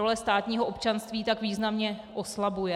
Role státního občanství tak významně oslabuje.